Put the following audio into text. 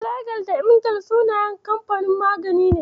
Filagil da Emgil sunayen kamfanin magani ne.